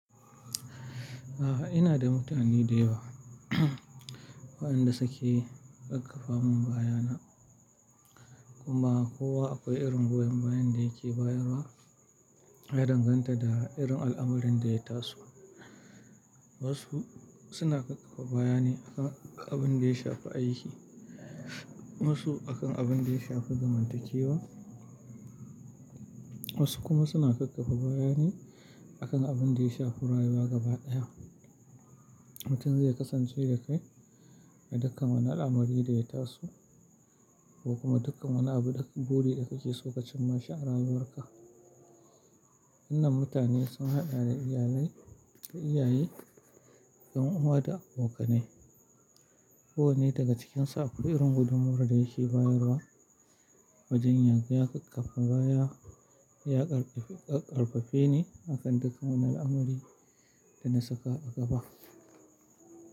A'a, ina da mutane da yawa waɗanda suke kakkaffa mun bayana. Kuma kowa akwai irin goyon bayan da yake bayarwa ya danganta da irin al'amarin da ya taso. Wasu suna ƙaƙfa bayane akan abin da ya shafi aiki, wasu akan abin da ya shafi zamantakewa, wasu kuma suna ƙaƙfa bayane akan abin da ya shafi rayuwa gaba ɗaya. Mutum zai kasance da kai a dukkan wani al'amari da ya taso ko kuma dukkan wani abu da buri da kake so ka cimma shi a rayuwarka. Wannan mutane sun haɗa da iyalai da iyaye, 'yan uwa da abokanai. Kowane daga cikinsu akwai irin gudummawar da yake bayarwa wajen yaga ya kakkafa baya ya ƙarfafe ni akan dukkan wani al'amari da na saka a gaba.